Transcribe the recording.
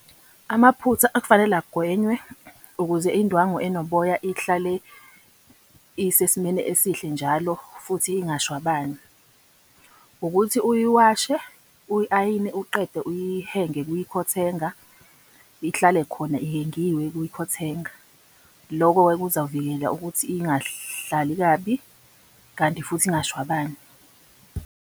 Amaphutha okufanele agwenywe ukuze indwangu enoboya ihlale isesimeni esihle njalo futhi ingashwabani ukuthi uyiwashe, uyi-ayine, uqede uyihenge kwikhothenga. Ihlale khona ihengiwe kwikhothenga. Loko-ke kuzawuvikela ukuthi ingahlali kabi, kanti futhi ingashwabani.